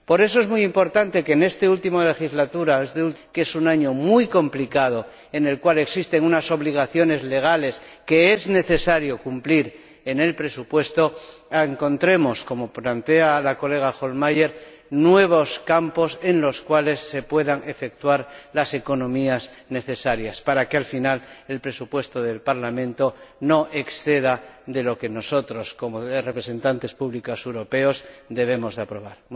Por eso es muy importante que en este último año de la legislatura, que es un año muy complicado, en el cual existen unas obligaciones legales que es necesario cumplir en el presupuesto, encontremos ―como plantea la colega Hohlmeier― nuevos campos en los cuales se puedan efectuar las economías necesarias para que, al final, el presupuesto del Parlamento no exceda de lo que nosotros, como representantes públicos europeos, debemos aprobar.